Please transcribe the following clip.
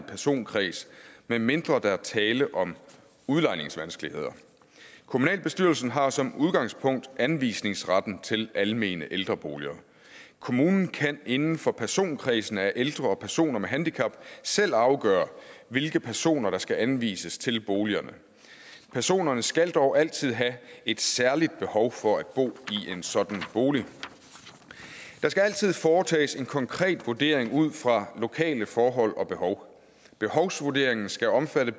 personkreds medmindre der er tale om udlejningsvanskeligheder kommunalbestyrelsen har som udgangspunkt anvisningsretten til almene ældreboliger kommunen kan inden for personkredsen af ældre og personer med handicap selv afgøre hvilke personer der skal anvises til boligerne personerne skal dog altid have et særligt behov for at bo i en sådan bolig der skal altid foretages en konkret vurdering ud fra lokale forhold og behov behovsvurderingen skal omfatte